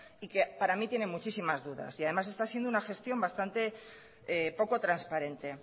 y que para mí tiene muchísimas dudas y además está siendo una gestión bastante poco transparente